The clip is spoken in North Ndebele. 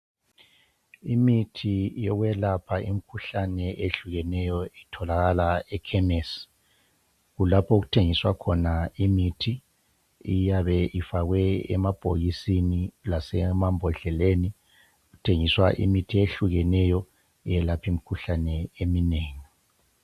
Imithi yokwelapha imikhuhlane ehlukeneyo itholakala ekhemisi. Kulapho okuthengiswa khona imithi eyabe ifakwe emabhokisini lasemambodleleni. Kuthengiswa imithi ehlukeneyo eyelapha imikhuhlane eminengi.